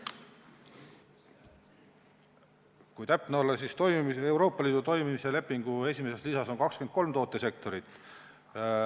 Kui täpne olla, siis Euroopa Liidu toimimise lepingu esimeses lisas on 23 tootesektorit.